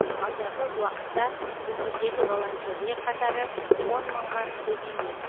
алдағы уақытта өңірдегі волонтерлер қатары он мыңға көбеймек